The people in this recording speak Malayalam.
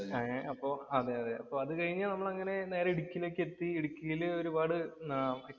ഏർ അപ്പൊ അതുകഴിഞ്ഞാ നേരെ നമ്മള് ഇടുക്കിയിലേക്ക് എത്തി. ഇടുക്കിയില്‍ ഒരുപാട്